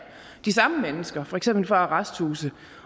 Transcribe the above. de samme mennesker for eksempel fra arresthuse